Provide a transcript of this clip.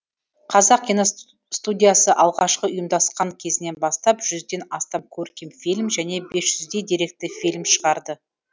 қазақ киностудиясы алғашқы ұйымдасқан кезінен бастап жүзден астам көркем фильм және бес жүздей деректі фильм шығарды